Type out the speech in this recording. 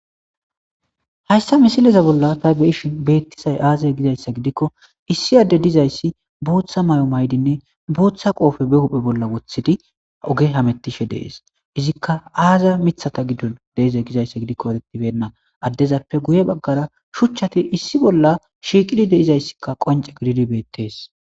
hayssa misileza bolla ta beyishin beettisay aazay gizayssa gidikko issi adde dizayssi booththa mayo maydinne booththa qooppe be huphe bolla woththidi oge hamettishe dees izikka aaza mithata giddo deeze gizayssa gidikko eretibenna addezappe guye baggara shuchchati issi bolla shiiqidi de'izayssikka qonce gididi beettees